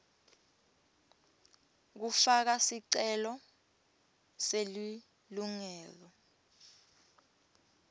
kufaka sicelo selilungelo